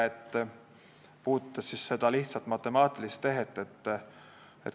See puudutas lihtsat matemaatilist tehet.